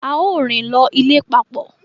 Ao rin lọ ilé papọ